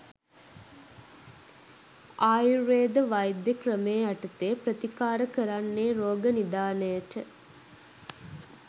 ආයුර්වේද වෛද්‍ය ක්‍රමය යටතේ ප්‍රතිකාර කරන්නේ රෝග නිධානයට.